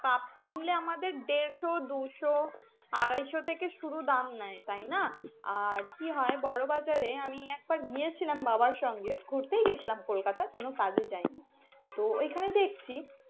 Cup কিনলে আমাদের দেড়শ দুইশ আড়াইশো থেকে শুরু দাম নাই তাই না আর কি হয় বড় বাজারে আমি একবার গিয়েছিলাম বাবার সঙ্গে ঘুরতেই গেছিলাম কোনো কাজে যাই নি তো ওখানে দেখছি।